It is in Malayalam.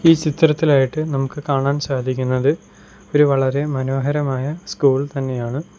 ഈ ചിത്രത്തിലായിട്ട് നമുക്ക് കാണാൻ സാധിക്കുന്നത് ഒരു വളരെ മനോഹരമായ സ്കൂൾ തന്നെയാണ്.